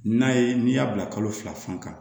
N'a ye n'i y'a bila kalo fila fan kan